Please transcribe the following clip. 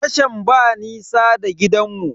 Tashan ba nisa da gidanmu.